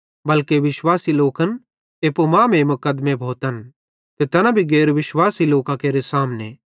बल्के विश्वासी लोकन एप्पू मांमेइं मुकदमे भोतन ते तैना भी गैर विश्वासी लोकां केरे सामने